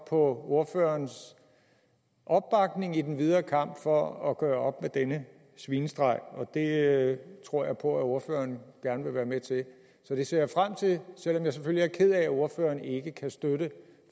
ordførerens opbakning i den videre kamp for at gøre op med denne svinestreg det tror jeg på at ordføreren gerne vil være med til så det ser jeg frem til selv om jeg selvfølgelig er ked af at ordføreren ikke kan støtte